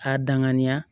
K'a danganiya